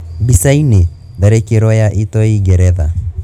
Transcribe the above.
Bica-ini: Tharĩkĩro ya itoi Geretha.